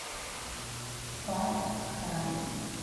фар край